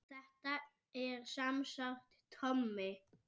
Þetta er semsagt Tommi